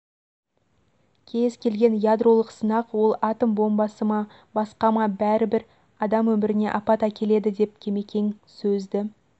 кез келген ядролық сынақ ол атом бомбасы ма басқа ма бәрібір адам өіміріне апат әкеледі деп кемекең сөзді